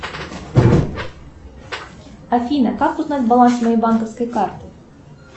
афина как узнать баланс моей банковской карты